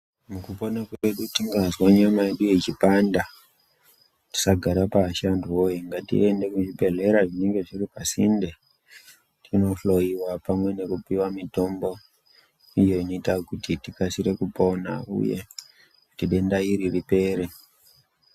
Mukupona kwedu tingazwa nyama yedu ichipanda, tisagara pashi antu woye ngatiende kuzvibhedhlera zvinenge zviri pasinde tinohloiwa pamwe nekupiwa mitombo iyo inoita kuti tikasire kupona uye kuti denda iri ripere.